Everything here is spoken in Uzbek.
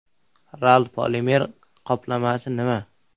RAL polimer qoplamasi nima?